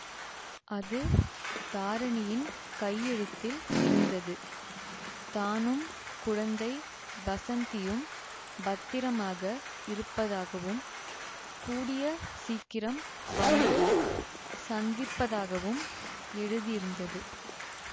அது தாரிணியின் கையெழுத்தில் இருந்தது தானும் குழந்தை வஸந்தியும் பத்திரமாக இருப்பதாகவும் கூடிய சீக்கிரம் வந்து சந்திப்பதாகவும் எழுதியிருந்தது